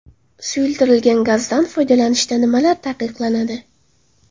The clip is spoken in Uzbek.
Suyultirilgan gazdan foydalanishda nimalar taqiqlanadi?